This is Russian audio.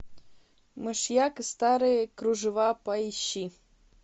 мышьяк и старые кружева поищи